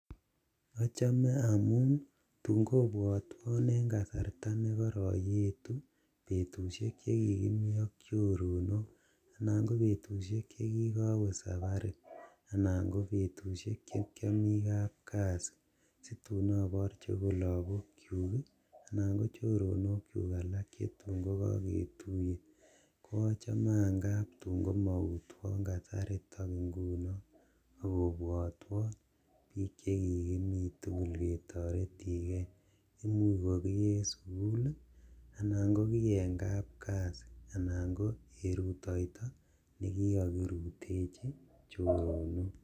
Achame amun tun kobwotwon eng kasarta nekoroiyetu betusiek che kikimi ak chorono anan ko betusiek chekigowe sabari anan ko betusiek chekiami kabkasi situn aborchi akot lakok chuk anan ko choronok chu alak chetun ko kaketuye ko chaman kap komautwon kasariton nguno akobwatwo biik cheki mi tugul ketoretin ge imuch kumi sukul anan komi eng kap kasi anan ko kerutoito ne kikakirutechi choronok